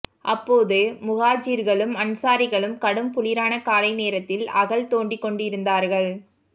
அப்போது முஹாஜிர்களும் அன்சாரிகளும் கடும் குளிரான காலை நேரத்தில் அகழ் தோண்டிக் கொண்டிருந்தார்கள்